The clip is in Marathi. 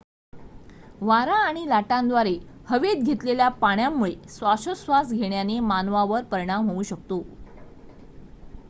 वारा आणि लाटांद्वारे हवेत घेतलेल्या पाण्यामुळे श्वासोच्छवास घेण्याने मानवावर परिणाम होऊ शकतो